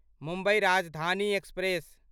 Mumbai Rajdhani express